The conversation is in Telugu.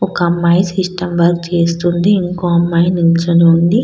ఒక అమ్మాయి సిస్టమ్ వర్క్ చేస్తుంది. ఇంకో అమ్మాయి నిల్చొని ఉంది.